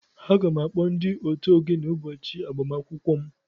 Aga m akpọ ndị otu ogene ụbọchị agbamakwụkwọ m